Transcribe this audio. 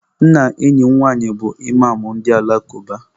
Nna enyi m nwaanyị bụ Ịmam ndị ụka alakụba.